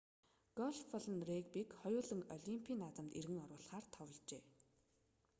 гольф болон регбиг хоёуланг олимпийн наадамд эргэн оруулахаар товложээ